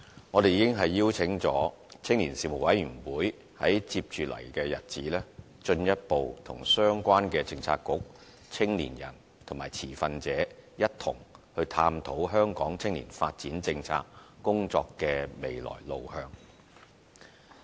我們已邀請青年事務委員會，在接着的日子進一步與相關的政策局、青年人和持份者一同探討香港青年發展政策工作的未來路向。